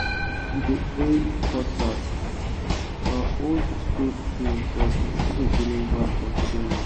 we dey hail cutlass—na old school tool but e still dey deliver for today work